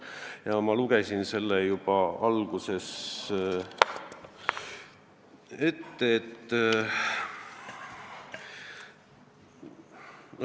Ja ma lugesin selle teile kohe alguses ette.